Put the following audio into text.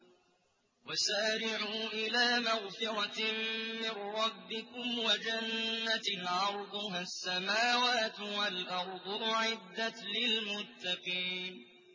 ۞ وَسَارِعُوا إِلَىٰ مَغْفِرَةٍ مِّن رَّبِّكُمْ وَجَنَّةٍ عَرْضُهَا السَّمَاوَاتُ وَالْأَرْضُ أُعِدَّتْ لِلْمُتَّقِينَ